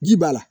Ji b'a la